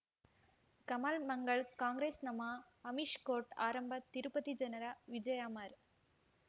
ಕಮಲ್ ಮಂಗಳ್ ಕಾಂಗ್ರೆಸ್ ನಮಃ ಅಮಿಷ್ ಕೋರ್ಟ್ ಆರಂಭ ತಿರುಪತಿ ಜನರ ವಿಜಯ ಅಮರ್